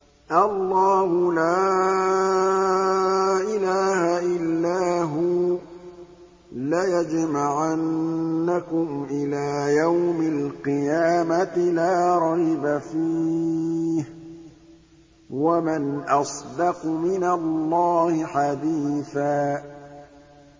اللَّهُ لَا إِلَٰهَ إِلَّا هُوَ ۚ لَيَجْمَعَنَّكُمْ إِلَىٰ يَوْمِ الْقِيَامَةِ لَا رَيْبَ فِيهِ ۗ وَمَنْ أَصْدَقُ مِنَ اللَّهِ حَدِيثًا